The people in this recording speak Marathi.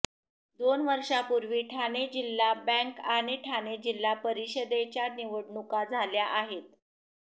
दोन वर्षापूर्वी ठाणे जिल्हा बँक आणि ठाणे जिल्हा परिषदेच्या निवडणुका झाल्या आहेत